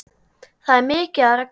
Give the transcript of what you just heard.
Það er mikið af reglum.